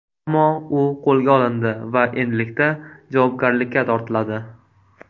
Ammo u qo‘lga olindi va endilikda javobgarlikka tortiladi.